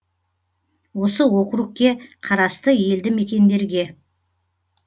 осы округке қарасты елді мекендерге